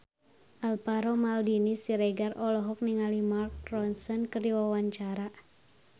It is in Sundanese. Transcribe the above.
Alvaro Maldini Siregar olohok ningali Mark Ronson keur diwawancara